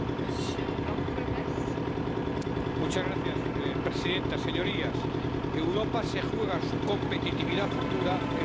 Señora presidenta, señorías, Europa se juega su competitividad futura en su Agenda Digital.